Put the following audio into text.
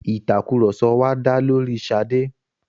Ìtàkurọ̀sọ wa dá lóri Ṣadé.